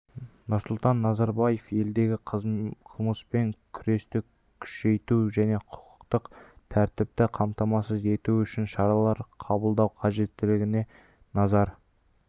нұрсұлтан назарбаев елдегі қылмыспен күресті күшейту және құқықтық тәртіпті қамтамасыз ету үшін шаралар қабылдау қажеттігіне назар